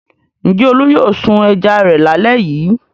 Ǹjẹ́ Olú yóò sun ẹja rẹ̀ lálẹ́ yìí?